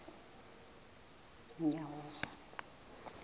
unyawuza